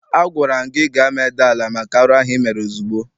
Agwara m gị gaa medaa ala maka arụ ahụ ị mere ozugbo!